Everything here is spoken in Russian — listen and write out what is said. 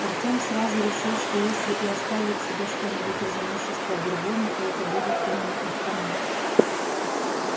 артем сразу решил что если и оставит себе что-нибудь из имущества бурбона то это будет именно автомат